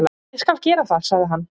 """Ég skal gera það, sagði hann."""